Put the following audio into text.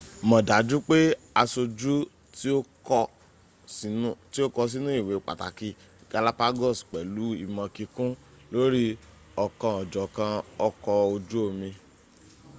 mọ̀ dájú pé aṣojú tí o kọ sínú ìwé pàtàkì galapagos pẹ̀lú ìmọ̀ kíkún lórí ọ̀kanòjọ̀kan ọkọ̀ ojú omi